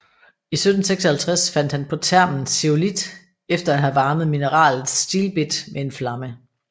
I 1756 fandt han på termen zeolit efter at have varmet mineralet stilbit med en flamme